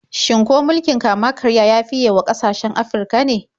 Shin ko mulkin kama-karya ya fiye wa ƙasashen Afirka ne?